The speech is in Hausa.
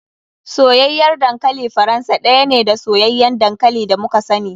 Soyayyar dankali faransa ɗaya ne da soyayyan dankali da muka sani.